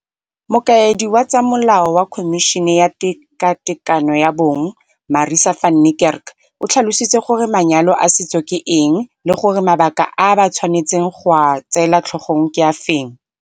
Mokaedi wa tsa molao wa Khomišene ya Tekatekano ya Bong, Marissa van Niekerk, o tlhalositse gore manyalo a setso ke eng le gore mabaka a ba tshwanetseng go a tseela tlhogong ke afe.